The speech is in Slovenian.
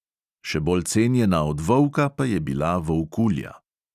Še bolj cenjena od volka pa je bila volkulja.